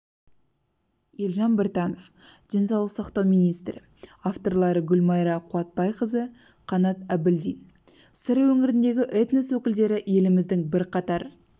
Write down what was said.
елжан біртанов денсаулық сақтау министрі авторлары гүлмайра қуатбайқызы қанат әбілдин сыр өңіріндегі этнос өкілдері еліміздің бірқатар